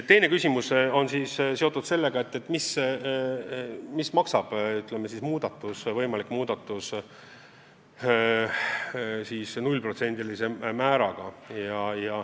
Teine küsimus oli, mida maksab võimalik muudatus, kui valime 0%-lise määra.